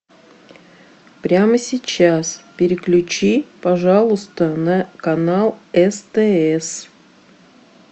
прямо сейчас переключи пожалуйста на канал стс